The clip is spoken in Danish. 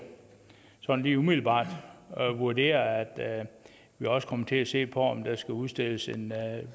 sådan lige umiddelbart vurdere at vi også kommer til at se på om der skal udstedes en